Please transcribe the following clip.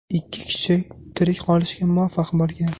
Ikki kishi tirik qolishga muvaffaq bo‘lgan.